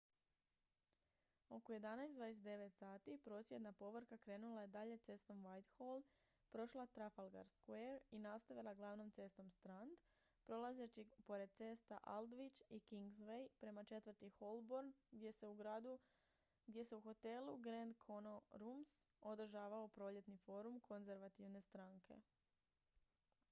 oko 11:29 h prosvjedna povorka krenula je dalje cestom whitehall prošla trafalgar square i nastavila glavnom cestom strand prolazeći pored cesta aldwych i kingsway prema četvrti holborn gdje se u hotelu grand connaught rooms održavao proljetni forum konzervativne stranke